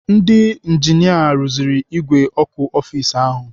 Ndị injinia rụziri ìgwè ọkụ ọfis ahụ.